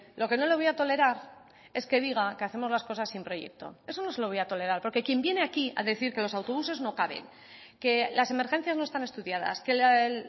lo que no le voy a tolerar es que diga que hacemos las cosas sin proyecto eso no se lo voy a tolerar porque quien viene aquí a decir que los autobuses no caben que las emergencias no están estudiadas que el